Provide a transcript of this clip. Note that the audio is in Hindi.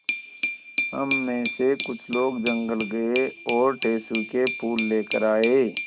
हम मे से कुछ लोग जंगल गये और टेसु के फूल लेकर आये